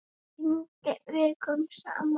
Það rigndi vikum saman.